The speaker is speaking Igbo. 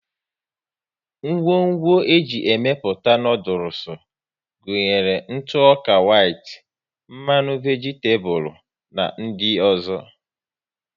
Ngwo ńgwọ e ji emepụta noodules gụnyere ntụ ọka whit, mmanụ vegitabulu na ndị ọzọ